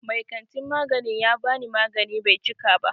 Mai kantin magani ya bani magani Bai cika ba.